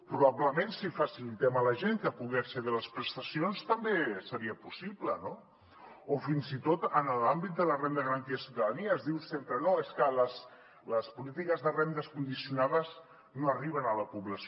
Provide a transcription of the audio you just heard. probablement si facilitem a la gent que pugui accedir a les prestacions també seria possible no o fins i tot en l’àmbit de la renda garantida de ciutadania es diu sempre no és que les polítiques de rendes condicionades no arriben a la població